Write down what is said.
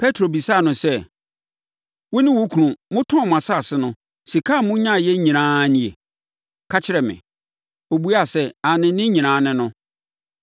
Petro bisaa no sɛ, “Wo ne wo kunu, motɔn mo asase no, sika a monyaeɛ nyinaa ara nie? Ka kyerɛ me.” Ɔbuaa sɛ, “Aane ne nyinaa ne no.”